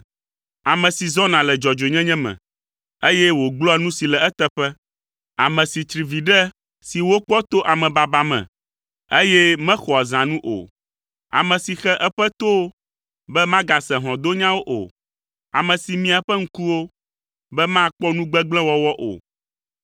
Ame si zɔna le dzɔdzɔenyenye me, eye wògblɔa nu si le eteƒe, ame si tsri viɖe si wokpɔ to amebaba me, eye mexɔa zãnu o, ame si xe eƒe towo be magase hlɔ̃donyawo o, ame si mia eƒe ŋkuwo be makpɔ nu gbegblẽ wɔwɔ o.